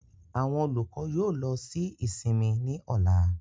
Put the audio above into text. Àwọn olukọ yoo lọ si isinmi ni ọla.